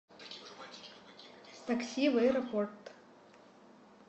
такси в аэропорт